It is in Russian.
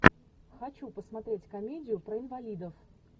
хочу посмотреть комедию про инвалидов